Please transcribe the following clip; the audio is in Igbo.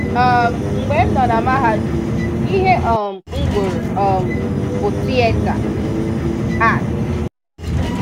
um Mgbe m nọ na mahadum, ihe um m gụrụ um bụ 'Theatre Arts'.